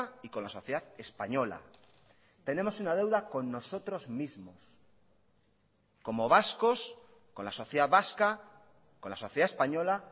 y con la sociedad española tenemos una deuda con nosotros mismos como vascos con la sociedad vasca con la sociedad española